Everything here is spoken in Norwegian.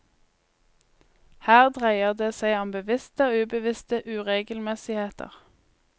Her dreier det seg om bevisste og ubevisste uregelmessigheter.